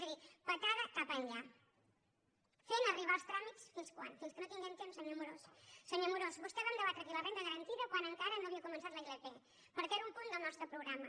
és a dir patada cap enllà fent arribar els tràmits fins quan fins que no tinguem temps senyor amorós senyor amorós amb vostè vam debatre aquí la renda garantida quan encara no havia començat la ilp perquè era un punt del nostre programa